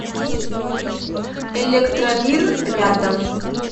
электромир рядом